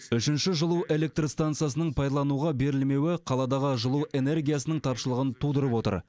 үшінші жылу электр стансасының пайдалануға берілмеуі қаладағы жылу энергиясының тапшылығын тудырып отыр